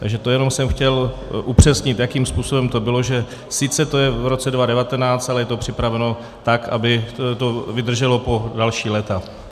Takže to jenom jsem chtěl upřesnit, jakým způsobem to bylo, že sice to je v roce 2019, ale je to připraveno tak, aby to vydrželo po další léta.